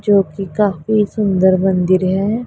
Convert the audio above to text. जो कि काफी सुंदर मंदिर है।